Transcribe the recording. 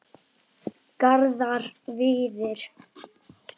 Garðar Víðir.